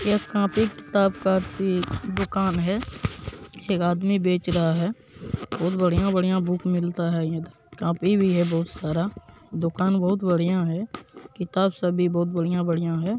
यह कॉपी किताब की भी दुकान है एक आदमी बेच रहा है बहुत बढ़िया-बढ़िया बुक मिलता हैं इधर कापी भी है बहुत सारा दुकान बहुत बढ़िया है किताब सभी बहुत बढ़िया-बढ़िया है।